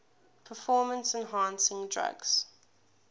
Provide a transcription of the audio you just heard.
performance enhancing drugs